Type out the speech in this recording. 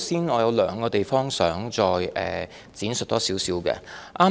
我有兩個地方想多作闡述。